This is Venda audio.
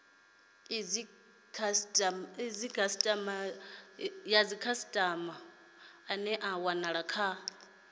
dzikhasitama ane a wanala kha